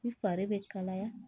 I fari bɛ kalaya